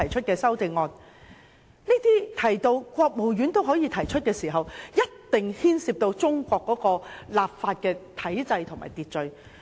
當提到可由國務院提出時，一定牽涉到中國的法律體制和秩序。